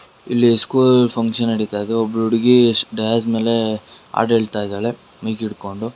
ಇಲ್ಲಿ school function ನಡಿತಾ ಇದೆ ಒಬ್ಬಳು ಹುಡುಗಿ ಸ್ಟೇಜ್ ಮೇಲೆ ಹಾಡ್ ಹೇಳುತ್ತಾ ಇದ್ದಾಳೆ ಮೈಕ್ ಹಿಡ್ಕೊಂಡು.